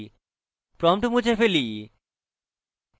prompt মুছে ফেলি